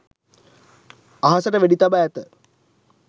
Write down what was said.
අහසට වෙඩි තබා ඇත